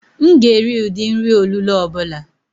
M ga-eri ụdị nri olulo ọ bụla